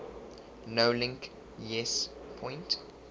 nolink yes point